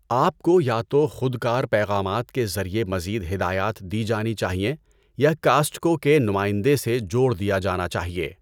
آپ کو یا تو خودکار پیغامات کے ذریعے مزید ہدایات دی جانی چاہئیں یا کاسٹکو کے نمائندے سے جوڑ دیا جانا چاہیے۔